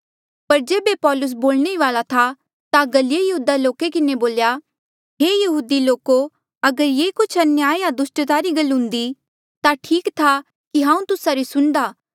पर जेबे पौलुस बोलणे ई वाल्आ था ता गल्लिये यहूदी लोका किन्हें बोल्या हे यहुदी लोको अगर ये कुछ अन्याय या दुस्टता री गल्ला हुन्दी ता ठीक था कि हांऊँ तुस्सा री सुणदा